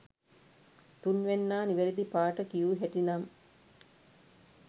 තුන්වැන්නා නිවැරදි පාට කියූ හැටි නම්